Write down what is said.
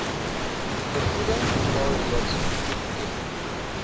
vergoeding alreeds toegeken